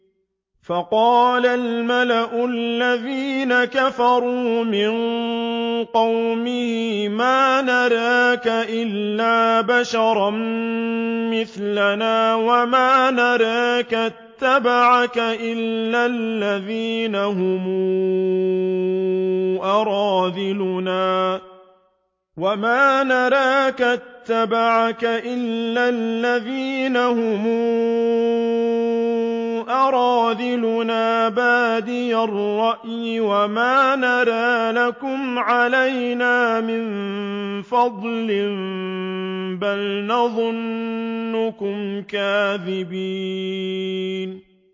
فَقَالَ الْمَلَأُ الَّذِينَ كَفَرُوا مِن قَوْمِهِ مَا نَرَاكَ إِلَّا بَشَرًا مِّثْلَنَا وَمَا نَرَاكَ اتَّبَعَكَ إِلَّا الَّذِينَ هُمْ أَرَاذِلُنَا بَادِيَ الرَّأْيِ وَمَا نَرَىٰ لَكُمْ عَلَيْنَا مِن فَضْلٍ بَلْ نَظُنُّكُمْ كَاذِبِينَ